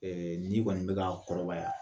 n'i kɔni bɛ ka kɔrɔbaya